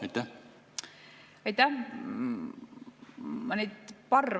Aitäh!